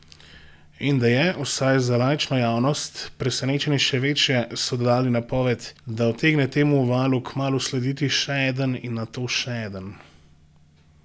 In da je, vsaj za laično javnost, presenečenje še večje, so dodali napoved, da utegne temu valu kmalu slediti še eden in nato še eden ...